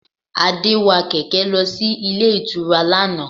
Adé wa kẹ̀kẹ́ lọ sí ilé ìtura lánàá